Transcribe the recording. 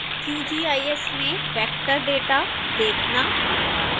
qgis में vector data देखना